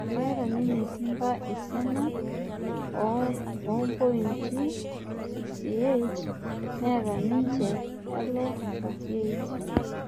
Keeta ninje Simba esiana oopointi 68 neeta nije Yalo 47